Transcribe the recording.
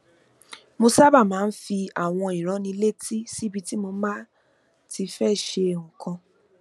mo sábà máa ń fi àwọn ìránnilétí síbi tí mo bá ti fé ṣe àwọn nǹkan kan